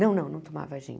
Não, não, não tomava gin.